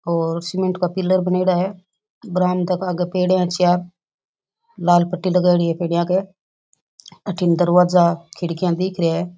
और सीमेंट का पिलर बनेडा है बरामदा के आगे पेडिया है चार लाल पट्टी लगाईड़ी पेडिया पे अठिन दरवाजा खिड़की दिख रे है।